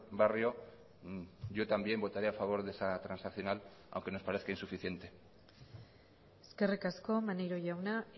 barrio yo también votaré a favor de esa transaccional aunque nos parezca insuficiente eskerrik asko maneiro jauna